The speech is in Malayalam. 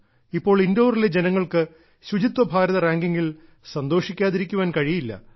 ഇപ്പോൾ ഇൻഡോറിലെ ജനങ്ങൾക്ക് ശുചിത്വ ഭാരത റാങ്കിങ്ങിൽ സന്തോഷിക്കാതിരിക്കാൻ കഴിയില്ല